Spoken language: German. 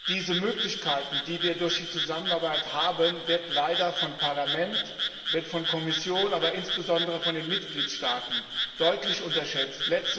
Diese Möglichkeiten, die wir durch die Zusammenarbeit haben, werden leider vom Parlament, von der Kommission, aber insbesondere von den Mitgliedstaaten deutlich unterschätzt.